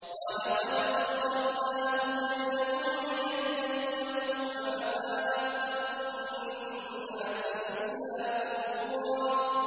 وَلَقَدْ صَرَّفْنَاهُ بَيْنَهُمْ لِيَذَّكَّرُوا فَأَبَىٰ أَكْثَرُ النَّاسِ إِلَّا كُفُورًا